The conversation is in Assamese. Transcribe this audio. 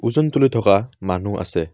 ওজন তুলি থকা মানুহ আছে।